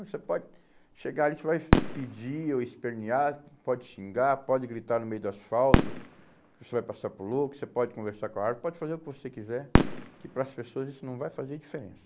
Você pode chegar ali, você vai pedir ou espernear, pode xingar, pode gritar no meio do asfalto, você vai passar por louco, você pode conversar com a árvore, pode fazer o que você quiser, que para as pessoas isso não vai fazer diferença.